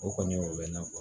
O kɔni o bɛ na fɔ